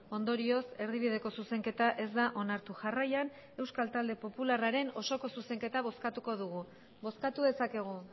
ondorioz erdibideko zuzenketa ez da onartu jarraian euskal talde popularraren osoko zuzenketa bozkatuko dugu bozkatu dezakegu